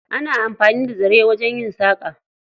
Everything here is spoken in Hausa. Ana amfani da zare wajen yin saƙa.